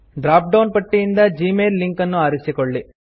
drop down ಪಟ್ಟಿಯಿಂದ Gmail link ಅನ್ನು ಆರಿಸಿಕೊಳ್ಳಿ